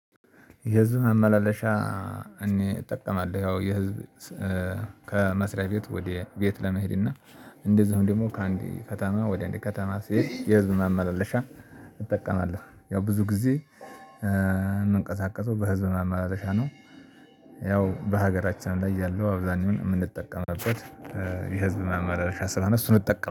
የህዝብ መመላለሻ እኔ እጠቀማለሁ ያው የህዝብ ከመስሪያ ቤት ወደ ቤት ለመሄድ እና እንደዛውም ደግሞ ከአንድ ከተማ ወደ አንድ ከተማ ሲሄድ የህዝብን አመላለሻ እጠቀማለሁ ያው ብዙ ጊዜ የምንቀሳቀሰው በህዝብ መማለሻ ነው። ያው በሀገራችን ላይ ያለው አብዛኛው የምንጠቀምበት የህዝብ ማመላለሻ ስለሆነ እሱን እጠቀም